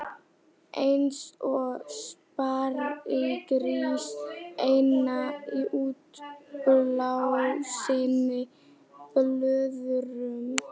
Eins og sparigrís innan í útblásinni blöðru.